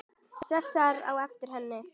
Sesar á eftir henni.